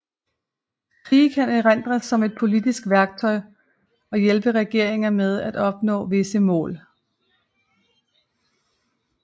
Krige kan erindres som et politisk værktøj og hjælpe regeringer med at opnå visse mål